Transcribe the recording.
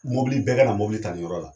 Mobili bɛɛ kana mobili ta nin yɔrɔ la.